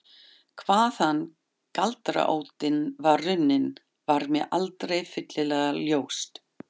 Hvaðan galdraóttinn var runninn var mér aldrei fyllilega ljóst.